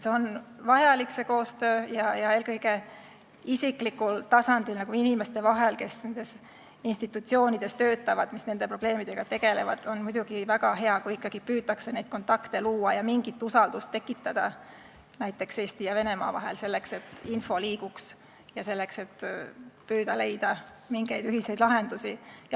See koostöö on vajalik ja on muidugi väga hea, kui eelkõige isiklikul tasandil, inimeste vahel, kes nendes institutsioonides töötavad ja nende probleemidega tegelevad, ikkagi püütakse neid kontakte luua ja mingit usaldust tekitada Eesti ja Venemaa vahel, selleks et info liiguks, ja püütakse leida mingeid ühiseid lahendusi.